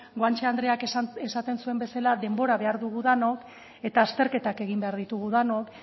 guanche andreak esaten zuen bezala denbora behar dugu denok eta azterketak egin behar ditugu denok